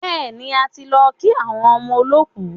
Bẹ́ẹ̀ni, a ti lọ kí àwọn ọmọ olọ́kù.